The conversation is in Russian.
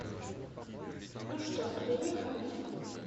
ну что приехали